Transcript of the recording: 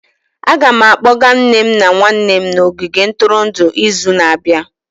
Aga m akpọga nne m na nwanne m n'ogige ntụrụndụ izu na-abịa.